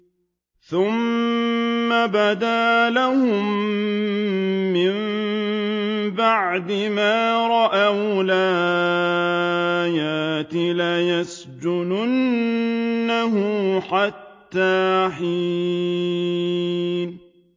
ثُمَّ بَدَا لَهُم مِّن بَعْدِ مَا رَأَوُا الْآيَاتِ لَيَسْجُنُنَّهُ حَتَّىٰ حِينٍ